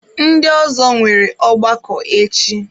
Ndị ọzọ nwere ọgbakọ echi.